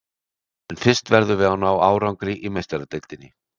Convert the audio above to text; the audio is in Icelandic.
En fyrst verðum við að ná árangri í Meistaradeildinni.